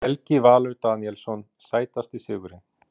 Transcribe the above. Helgi Valur Daníelsson Sætasti sigurinn?